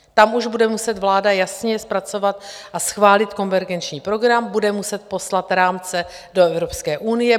Tam už bude muset vláda jasněji zpracovat a schválit konvergenční program, bude muset poslat rámce do Evropské unie.